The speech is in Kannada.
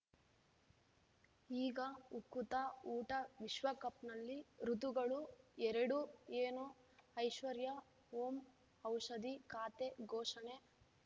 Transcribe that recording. ಈಗ ಉಕುತ ಊಟ ವಿಶ್ವಕಪ್‌ನಲ್ಲಿ ಋತುಗಳು ಎರಡು ಏನು ಐಶ್ವರ್ಯಾ ಓಂ ಔಷಧಿ ಖಾತೆ ಘೋಷಣೆ